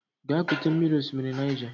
Gaa kute mmiri n'osimiri Niger!